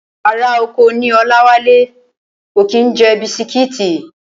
Ará oko ní Ọláwálé, kò kí ń jẹ bisitíìtì